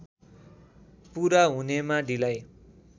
पूरा हुनेमा ढिलाइ